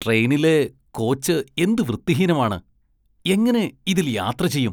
ട്രെയിനിലെ കോച്ച് എന്ത് വൃത്തിഹീനമാണ്, എങ്ങനെ ഇതില്‍ യാത്ര ചെയ്യും.